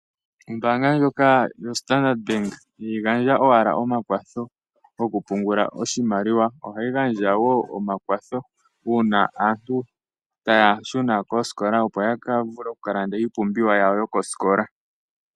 Ombaanga ndjoka yoStandard bank ihayi gandja owala omakwatho gokupungula oshimaliwa, ohayi gandja wo omakwatho uuna aantu taya shuna koosikola opo ya vule oku kalanda iipumbiwa yawo yoko sikola.